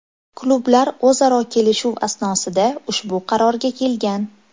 Klublar o‘zaro kelishuv asnosida ushbu qarorga kelgan.